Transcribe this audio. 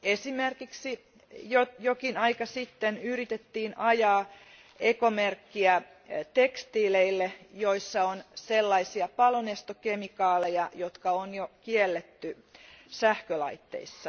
Esimerkiksi jokin aika sitten yritettiin ajaa ekomerkkiä tekstiileille, joissa on sellaisia palonestokemikaaleja, jotka on jo kielletty sähkölaitteissa.